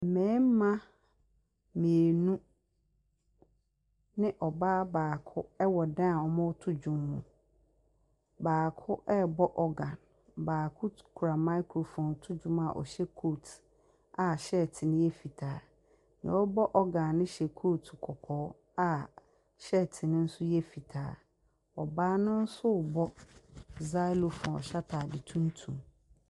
Mmarima mmienu ne ɔbaa baako wɔ dan a wɔreto dwom mu. Baako rebɔ organ. Baako kura microphone reto dwo a wɔhyɛ coat a shirt no yɛ fitaa. Deɛ ɔrebɔ organ no hyɛ coat kɔkɔɔ a shirt no yɛ fitaa. Ɔbaa no nso rebɔ zylophone a ɔhyɛ atade tuntum.